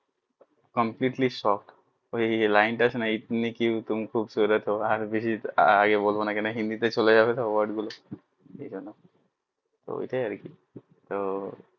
Completely shocked ওই যে line টা আছে না ইতনি তুম কিউ খুবসুরত হো আর বেশি আগে বলবো না নাকি হিন্দি তে চলে যাবে সব word গুলো ওইটাই আর কি তো